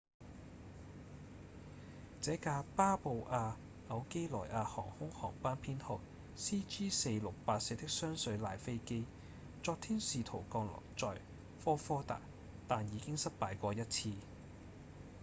這架巴布亞紐幾內亞航空航班編號 cg4684 的雙水獺飛機昨天試圖降落在科科達但已經失敗過一次